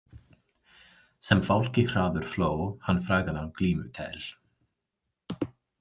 Sem fálki hraður fló hann frægan af glímu tel.